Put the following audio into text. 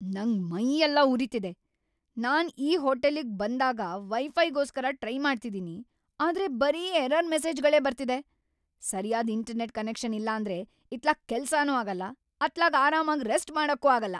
ನಂಗ್ ಮೈಯೆಲ್ಲ ಉರಿತಿದೆ! ನಾನ್‌ ಈ ಹೋಟೆಲಿಗ್ ಬಂದಾಗಿಂದ ವೈ-ಫೈಗೋಸ್ಕರ ಟ್ರೈ ಮಾಡ್ತಿದೀನಿ, ಆದ್ರೆ ಬರೀ ಎರರ್‌ ಮೆಸೇಜ್‌ಗಳೇ ಬರ್ತಿದೆ. ಸರ್ಯಾದ್ ಇಂಟರ್ನೆಟ್‌ ಕನೆಕ್ಷನ್‌ ಇಲ್ಲಾಂದ್ರೆ ಇತ್ಲಾಗ್ ಕೆಲ್ಸಾನೂ ಆಗಲ್ಲ, ಅತ್ಲಾಗ್ ‌ಆರಾಮಾಗ್ ರೆಸ್ಟ್‌ ಮಾಡಕ್ಕೂ ಆಗಲ್ಲ.